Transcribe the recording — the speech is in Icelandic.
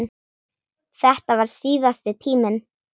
Þetta varð síðasti tíminn.